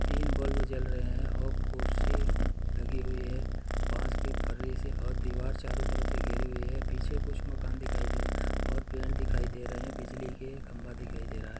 तीन बल्ब जल रहै हैं और कुर्सी लगी हुई हैपास के फर्री से और दीवार चारों तरफ़ से घिरी हुई है पीछे कुछ मकान दिखाए दे रहे हैं और पेड़ दिखाए दे रहे हैंबिजली के खंबा दिखाई दे रहा है।